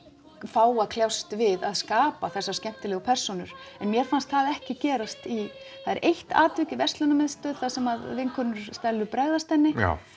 fá að kljást við að skapa þessar skemmtilegu persónur en mér fannst það ekki gerast í það er eitt atvik í verslunarmiðstöð þar sem vinkonur Stellu bregðast henni á